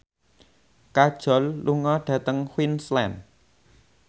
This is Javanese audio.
Kajol lunga dhateng Queensland